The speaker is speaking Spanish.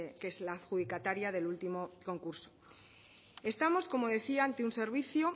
que es la adjudicataria del último concurso estamos como decía ante un servicio